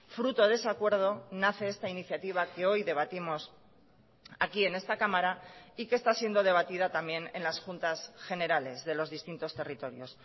fruto de ese acuerdo nace esta iniciativa que hoy debatimos aquí en esta cámara y que está siendo debatida también en las juntas generales de los distintos territorios